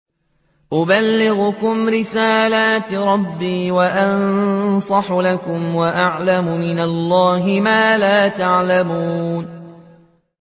أُبَلِّغُكُمْ رِسَالَاتِ رَبِّي وَأَنصَحُ لَكُمْ وَأَعْلَمُ مِنَ اللَّهِ مَا لَا تَعْلَمُونَ